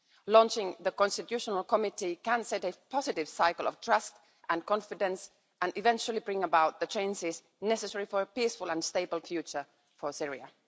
Launching the Constitutional Committee can set a positive cycle of trust and confidence and eventually bring about the changes necessary for a peaceful and stable future for Syria.